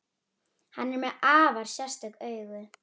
Hann er með afar sérstök augu.